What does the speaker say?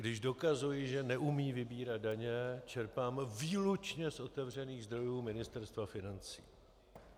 Když dokazuji, že neumí vybírat daně, čerpám výlučně z otevřených zdrojů Ministerstva financí.